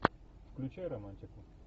включай романтику